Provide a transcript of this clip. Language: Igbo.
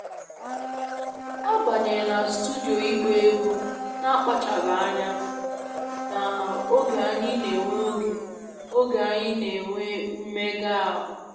Ọ banyere na studio ịgba egwu na akpachaghị anya na oge anyị n'enwe oge anyị n'enwe mmega ahu